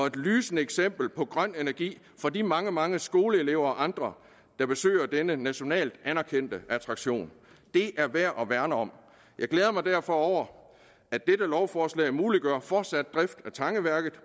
et lysende eksempel på grøn energi for de mange mange skoleelever og andre der besøger denne nationalt anerkendte attraktion det er værd at værne om jeg glæder mig derfor over at dette lovforslag muliggør fortsat drift af tangeværket